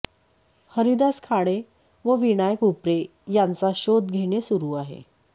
हरिदास खाडे व विनायक उपरे यांचा शोध घेणे सुरू आहे